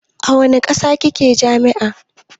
A wanne sashe kike a jami'a?